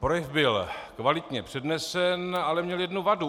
Projev byl kvalitně přednesen, ale měl jednu vadu.